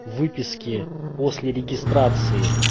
выписки после регистрации